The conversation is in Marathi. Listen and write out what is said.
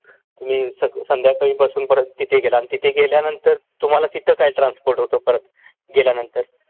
तुम्ही संध्याकाळी बसून परत तिथे गेला अन तिथे गेल्यानंतर तुम्हाला तिथं काय ट्रान्सपोर्ट होत परत गेल्यानंतर